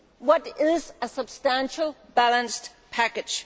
What is a substantial balanced package?